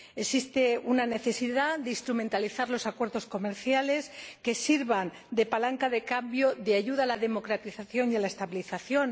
Existe una necesidad de instrumentalizar los acuerdos comerciales que sirvan de palanca de cambio, de ayuda a la democratización y a la estabilización.